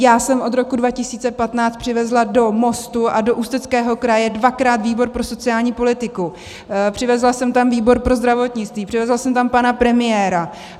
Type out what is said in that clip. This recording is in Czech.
Já jsem od roku 2015 přivezla do Mostu a do Ústeckého kraje dvakrát výbor pro sociální politiku, přivezla jsem tam výbor pro zdravotnictví, přivezla jsem tam pana premiéra.